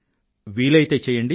వీలయితే చెయ్యండి